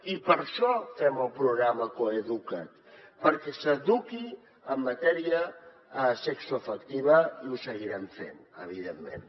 i per això fem el programa coeduca’t perquè s’eduqui en matèria sexoafectiva i ho seguirem fent evidentment